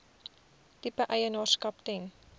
tipe eienaarskap ten